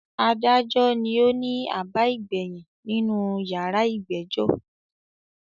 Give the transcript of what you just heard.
“Adájọ” ni ó ni àbá ìgbàyìn nínú “ yàrá ìgbẹ́jọ́”.